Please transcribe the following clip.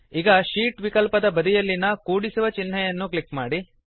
ಈಗ ಶೀಟ್ ವಿಕಲ್ಪದ ಬದಿಯಲ್ಲಿನ ಕೂಡಿಸುವ ಚಿನ್ಹೆಯನ್ನು ಅನ್ನು ಕ್ಲಿಕ್ ಮಾಡಿ